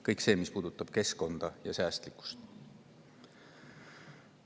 Kõige puhul, mis puudutab keskkonda ja säästlikkust.